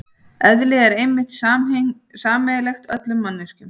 Eðli er einmitt sameiginlegt öllum manneskjum.